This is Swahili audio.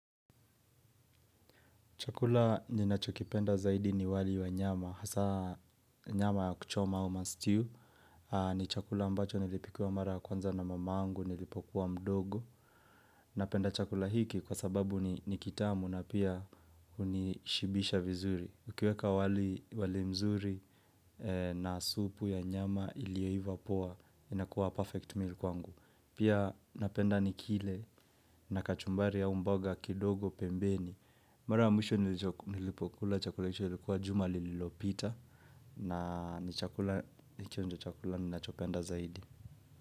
Chakula ninachokipenda zaidi ni wali wa nyama, hasaa nyama ya kuchoma au mastew, ni chakula ambacho nilipikiwa mara ya kwanza na mamangu, nilipokuwa mdogo, napenda chakula hiki kwa sababu ni kitamu na pia unishibisha vizuri. Ukiweka wali mzuri na supu ya nyama ilioiva poa, inakuwa perfect meal kwangu. Pia napenda nikile na kachumbari au mboga kidogo pembeni. Mara ya mwisho nilipokula chakula hicho ilikuwa juma lililopita na nikionjo chakula ninachopenda zaidi.